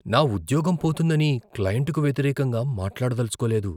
నా ఉద్యోగం పోతుందని, క్లయింట్కు వ్యతిరేకంగా మాట్లాడదలచుకోలేదు.